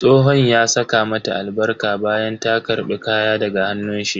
Tsohon ya saka mata albarka bayan ta karbi kaya daga hannun shi.